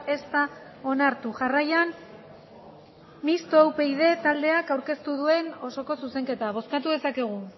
ez da onartu jarraian mistoa upyd taldeak aurkeztu duen osoko zuzenketa bozkatu dezakegu